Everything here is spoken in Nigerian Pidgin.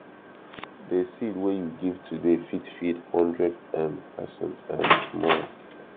de seed wey you give today fit feed hundred um person um tomorrow